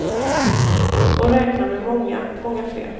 Och räkna med många, många fler.